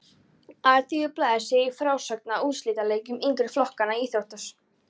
Alþýðublaðið segir í frásögn af úrslitaleikjum yngri flokkanna á íþróttasíðunni